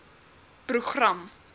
program